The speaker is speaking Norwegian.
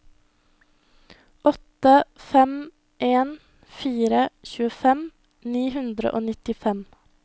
åtte fem en fire tjuefem ni hundre og nittifem